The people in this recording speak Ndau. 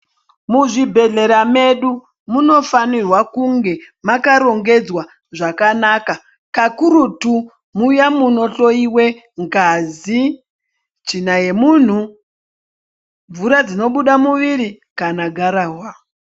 Muzvibhehlera medu munofanirwa kunge makarongedzwa zvakanaka. Kakurutu muya munohloyiwe ngazi, tsvina yemunhu, mvura dzinobuda muviri kana gararwa.